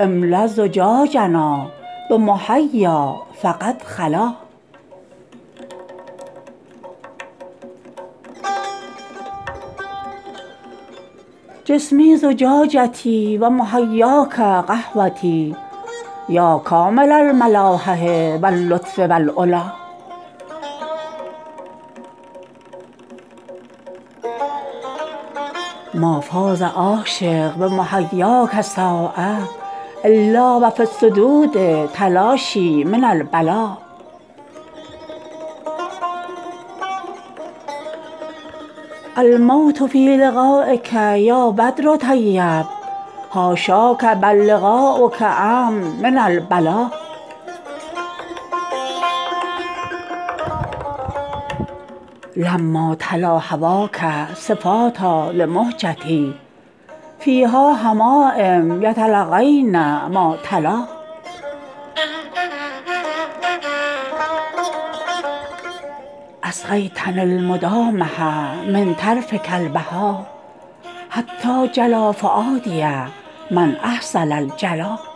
املا زجاجنا بحمیا فقد خلا جسمی زجاجتی و محیاک قهوتی یا کامل الملاحه و اللطف و العلا ما فاز عاشق بمحیاک ساعه الا و فی الصدود تلاشی من البلا الموت فی لقایک یا بدر طیب حاشاک بل لقاؤک امن من البلا لما تلا هواک صفاتا لمهجتی فیها حمایم یتلقین ما تلا اسقیتنی المدامه من طرفک البهی حتی جلا فؤادی من احسن الجلا